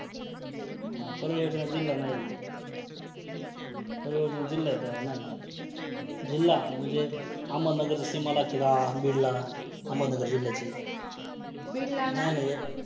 आणि तिसर म्हणजे महिलांवरती अ एक माझी मैत्रीण होती तिने मला सांगितल होत की जे अ त्यांची जी पाळी येते maturation cycle म्हणतात english मधे.